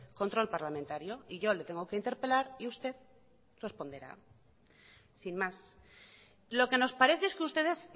control parlamentario y yo le tengo que interpelar y usted responderá sin más lo que nos parece es que ustedes